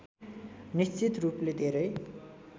निश्चित रूपले धेरै